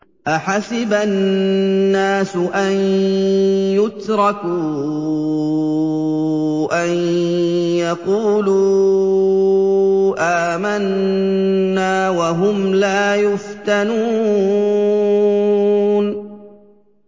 أَحَسِبَ النَّاسُ أَن يُتْرَكُوا أَن يَقُولُوا آمَنَّا وَهُمْ لَا يُفْتَنُونَ